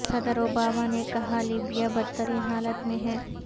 صدر اوباما نے کہا کہ لیبیا بدترین حالت میں ہے